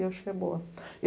Eu acho que é boa.